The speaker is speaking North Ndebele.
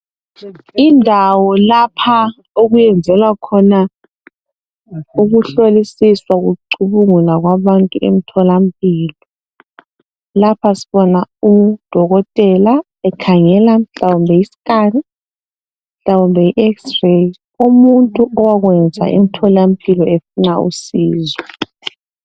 Indawo lapha okuyenzelwa khona ukuhlolisiswa kucubungulwa kwabantu emtholampilo. Lapha sibona udokotela ukhangela mhlawumbe yi scan mhlawumbe yi x-ray umuntu owakwenza emtholampilo efuna usizo.